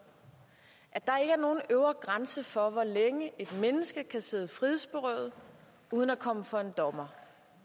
at der ikke er nogen øvre grænse for hvor længe et menneske kan sidde frihedsberøvet uden at komme for en dommer